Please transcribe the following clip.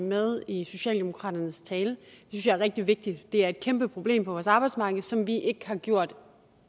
med i socialdemokraternes tale det jeg er rigtig vigtigt det er et kæmpeproblem på vores arbejdsmarked som vi ikke har gjort